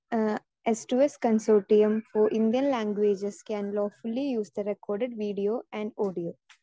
speaker 2 uh yes to yes consortium for Indian languages can lawfully use the record video and audio